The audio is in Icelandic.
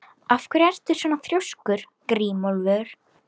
Af hverju ertu svona þrjóskur, Grímólfur?